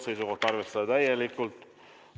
Seisukoht: arvestada täielikult.